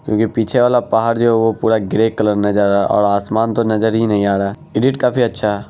क्योंकि पीछे वाला पहाड़ जो है वो पुरा ग्रे कलर नजर आ रहा असमान तो नजर ही नहीं आ रहा एडिट काफी अच्छा है ।